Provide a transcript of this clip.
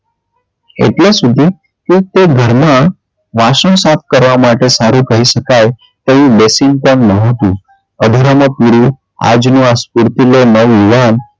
એટલે સુધી કે તે ઘરમાં વાસણ સાફ કરવા માટે સારું કહી શકાય તેવું basin પણ ન હતું અધૂરામાં પૂરું આજનો આ સ્ફૂર્તિલો નવ યુવાન,